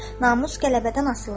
Namus qələbədən asılıdır.